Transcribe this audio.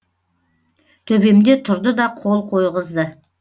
төбемде тұрды да қол қойғызды